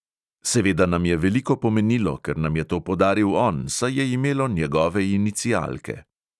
Seveda nam je veliko pomenilo, ker nam je to podaril on, saj je imelo njegove inicialke.